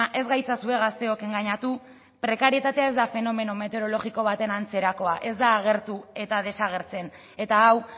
ez gaitzazue gazteok engainatu prekarietatea ez da fenomeno meteorologiko baten antzerakoa ez da agertu eta desagertzen eta hau